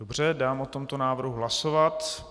Dobře, dám o tomto návrhu hlasovat.